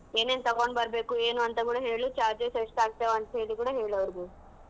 ಏನೇನ್ ತಗೊಂಡ್ ಬರ್ಬೆಕು ಏನು ಅಂತ್ ಕೂಡಾ ಹೇಳು charges ಎಷ್ಟ್ ಆಗ್ತಾವ್ ಅಂತ್ ಹೇಳಿ ಕೂಡಾ ಹೇಳ್ ಅವ್ರಿಗೆ.